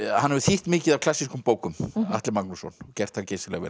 hann hefur þýtt mikið af klassíkum bókum Atli Magnússon og gert það geysilega vel